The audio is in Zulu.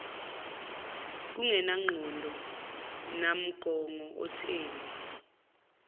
kungenangqondo nammongo otheni